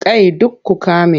Kai duk ku ƙame!